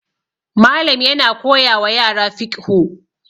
Malam yana koyawa yara fiqhu